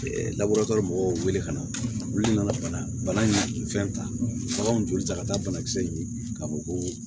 mɔgɔw wele ka na olu nana bana fɛn ta baganw joli ta ka taa banakisɛ in ka fɔ ko